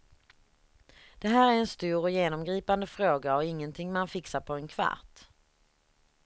Det här är en stor och genomgripande fråga och ingenting man fixar på en kvart.